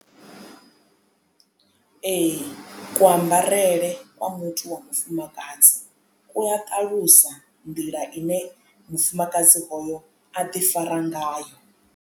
Ee ku ambarele kwa muthu wa mufumakadzi ku a ṱalusa nḓila ine mufumakadzi hoyo a ḓifara ngayo.